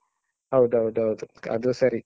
ಹೌದೌದೌದು ಅದೂ ಸರಿ.